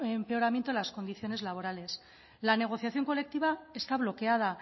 empeoramiento de las condiciones laborales la negociación colectiva está bloqueada